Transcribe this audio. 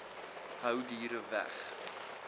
hou diere weg